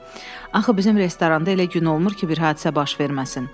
"Axı bizim restoranda elə gün olmur ki, bir hadisə baş verməsin."